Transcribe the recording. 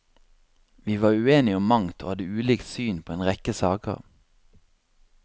Vi var uenige om mangt og hadde ulikt syn på en rekke saker.